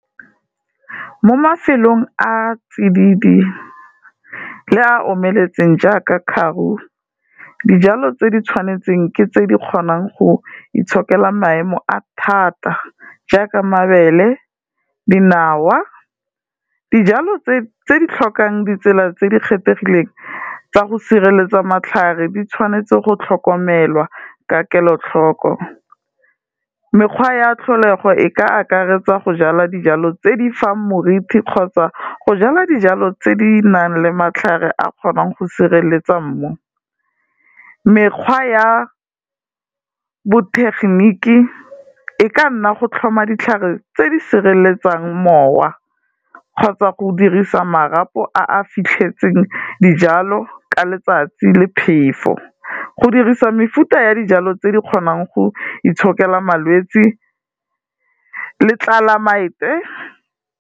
Mo mafelong a tsididi le a omeletseng jaaka Karoo, dijalo tse di tshwanetseng ke tse di kgonang go itshokela maemo a thata jaaka mabele, dinawa, dijalo tse di tlhokang ditsela tse di kgethegileng tsa go sireletsa matlhare, di tshwanetse go tlhokomelwa ka kelotlhoko. Mekgwa ya tlholego e ka akaretsa go jala dijalo tse di fang moriti kgotsa go jala dijalo tse di nang le matlhare a kgonang go sireletsa mmu. Mekgwa ya botegeniki e ka nna go tlhoma ditlhare tse di sireletsang mowa kgotsa go dirisa marapo a a fitlhetseng dijalo ka letsatsi le phefo, go dirisa mefuta ya dijalo tse di kgonang go itshokela malwetsi le tlelaemete.